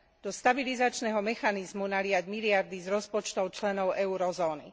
Do stabilizačného mechanizmu naliať miliardy z rozpočtov členov eurozóny.